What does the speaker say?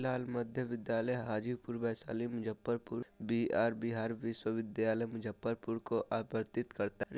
लाल मध्य विद्यालय हाजीपुर वैशाली मुज्जफरपुर बी_आर बिहार विश्वविद्यालय मुज्जफरपुर को आप्रतीत करता है।